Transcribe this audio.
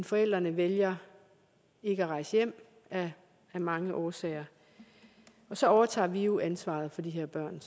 forældrene vælger ikke at rejse hjem af mange årsager og så overtager vi jo ansvaret for de her børn